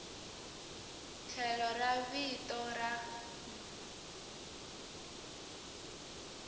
tlhelo ra vito ra n